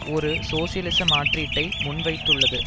ஒரு சோசியலிச மாற்றீட்டை முன்வைத்துள்ளது